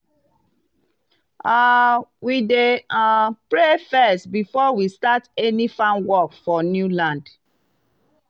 um we dey um pray first before we start any farm work for new land.